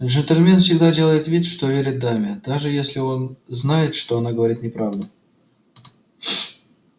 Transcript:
джентльмен всегда делает вид что верит даме даже если он знает что она говорит неправду